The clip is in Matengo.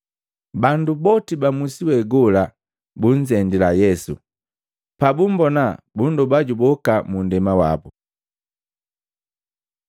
Bandu boti ba musi we gola bunzendila Yesu, pabumbona bundoba juboka mu nndema wabu.